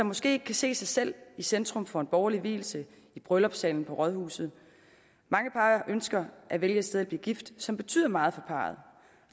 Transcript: måske kan se sig selv i centrum for en borgerlig vielse i bryllupssalen på rådhuset mange par ønsker at vælge et sted at blive gift som betyder meget for parret